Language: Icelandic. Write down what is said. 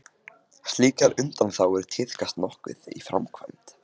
Slíkar undanþágur tíðkast nokkuð í framkvæmd.